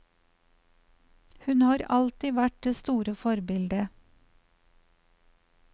Hun har alltid vært det store forbildet.